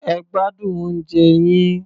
Ẹ gbádùn oúnjẹ yín.